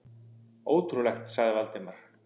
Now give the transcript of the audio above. Ótrúlegt sagði Valdimar.